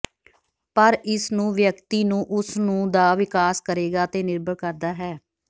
ਪਰ ਇਸ ਨੂੰ ਵਿਅਕਤੀ ਨੂੰ ਉਸ ਨੂੰ ਦਾ ਵਿਕਾਸ ਕਰੇਗਾ ਤੇ ਨਿਰਭਰ ਕਰਦਾ ਹੈ